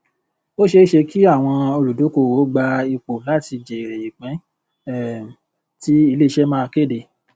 ó ṣeé ṣe kí àwọn olùdókòwò gba ipò láti jẹrè ìpín um tí iléiṣẹ máa kéde